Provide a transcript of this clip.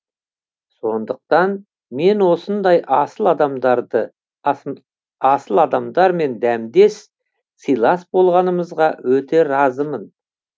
сондықтан мен осындай асыл адамдармен дәмдес сыйлас болғанымызға өте разымын